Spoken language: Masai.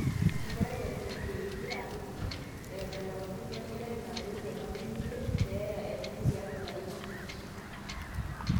enkerai eton eitu eini, aakiti, eeta ilapaitin, wenkerai nadou toolarin imiet keeya enye tiatwa ilarin imiet